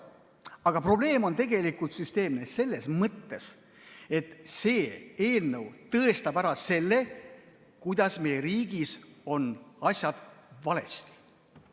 Aga probleem on süsteemne selles mõttes, et see eelnõu tõestab ära, kuidas meie riigis on asjad valesti.